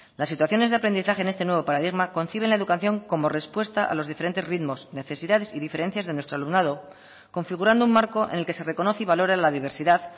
las situaciones de aprendizaje en este nuevo paradigma conciben la educación como respuesta a los diferentes ritmos necesidades y diferencias de nuestro alumnado configurando un marco en el que se reconoce y valora la diversidad